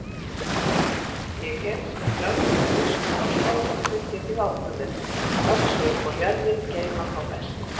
Ég hef sem löglegur biskup af Skálholti tekið ákvörðun: Öxin og jörðin geyma þá best.